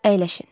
Əyləşin.